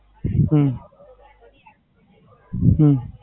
હમ હમ